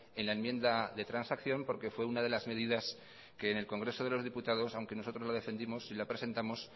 en la enmienda de transacción porque fue una de las medidas que en el congreso de los diputados aunque nosotros lo defendimos y la presentamos